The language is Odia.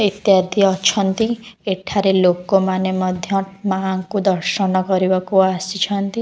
ଏକା ଏଠି ଅଛନ୍ତି ଏଠାରେ ଲୋକମାନେ ମଧ୍ୟ ମା'ଙ୍କୁ ଦର୍ଶନ କରିବାକୁ ଆସିଛନ୍ତି ।